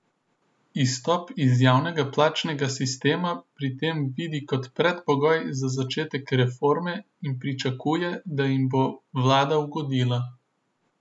Izstop iz javnega plačnega sistema pri tem vidi kot predpogoj za začetek reforme in pričakuje, da jim bo vlada ugodila.